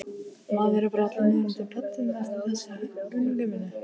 Maður er allur morandi í pöddum eftir þessa unglingavinnu.